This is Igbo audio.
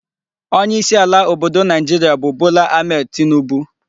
onye isi ala obodo Naijiria bu Bola Ahmed Tinubu